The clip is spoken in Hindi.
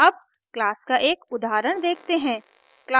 अब class का एक उदाहरण देखते हैं